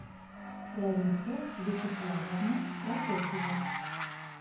лариса вячеславовна прокофьева